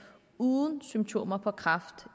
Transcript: uden symptomer på kræft